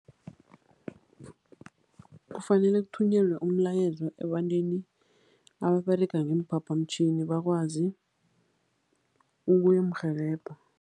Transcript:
Kufanele kuthunyelwa umlayezo ebantwini ababerega ngeemphaphamtjhini, bakwazi ukuyomrhelebha.